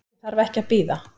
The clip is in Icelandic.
Ég þarf ekki að bíða.